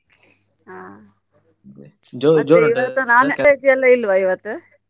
ಹಾ non-veg ಎಲ್ಲ ಇಲ್ವ ಇವತ್ತು?